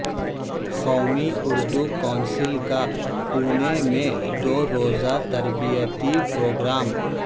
قومی اردو کونسل کا پونے میں دو روزہ تربیتی پروگرام